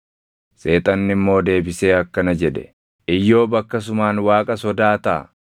Seexanni immoo deebisee akkana jedhe, “Iyyoob akkasumaan Waaqa sodaataa?